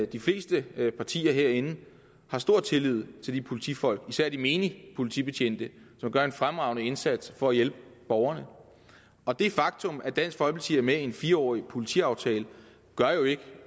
de fleste partier herinde har stor tillid til de politifolk især til de menige politibetjente som gør en fremragende indsats for at hjælpe borgerne og det faktum at dansk folkeparti er med i en fire årig politiaftale gør jo ikke